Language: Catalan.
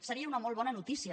seria una molt bona notícia